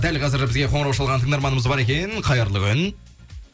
дәл қазір бізге қоңырау шалған тыңдарманымыз бар екен қайырлы күн